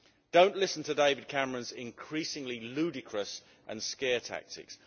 Don't listen to David Cameron's increasingly ludicrous and scare tactics.